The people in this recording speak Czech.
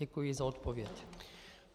Děkuji za odpověď.